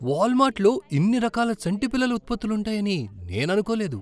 వాల్మార్ట్లో ఇన్ని రకాల చంటిపిల్లల ఉత్పత్తులు ఉంటాయని నేను అనుకోలేదు.